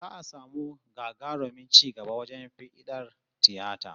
Za'a samu gagarumin ci gaba wajen fiɗar tiyata